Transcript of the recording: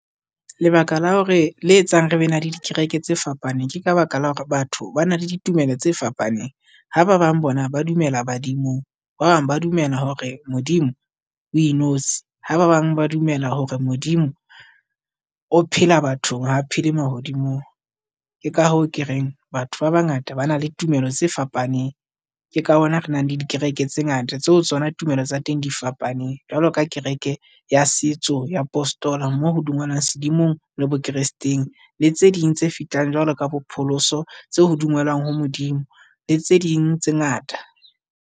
Lebaka la hore le etsang re be na le dikereke tse fapaneng Ke ka baka la hore batho ba na le ditumelo tse fapaneng, ha ba bang bona ba dumela badimong. Ba bang ba dumela hore Modimo o inotshi, ha ba bang ba dumela hore Modimo o phela bathong ha phela mahodimong. Ke ka hoo, ke reng batho ba bangata ba na le tumelo tse fapaneng. Ke ka hona re nang le dikereke tse ngata tseo tsona tumelo tsa teng di fapaneng jwalo ka kereke ya setso ya postola, mo ho dumeloang sedumong le bo kresteng, le tse ding tse fetanf jwalo ka bo pholoso tse ho dumelwang ho Modimo, le tse ding tse ngata.